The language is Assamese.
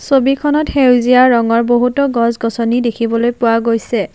ছবিখনত সেউজীয়া ৰঙৰ বহুতো গছ-গছনি দেখিবলৈ পোৱা গৈছে।